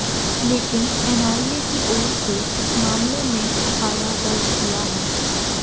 लेकिन एनआईए की ओर से इस मामले में एफआईआर दर्ज किया है